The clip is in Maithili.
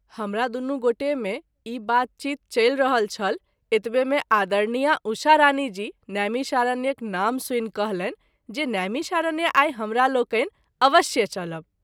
हमरा दुनू गोटे मे ई बात चीत चलि रहल छल एतबे मे आदरणीया उषा रानी जी नैमिषारण्यक नाम सुनि कहलनि जे नैमिषारण्य आई हमरालोकनि अवश्य चलब।